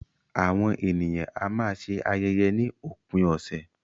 Àwọn ènìyàn a máa ṣe ayẹyẹ ni òpin ọ̀sẹ̀.